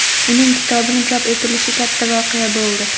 Uning kitobini chop etilishi katta voqea bo‘ldi.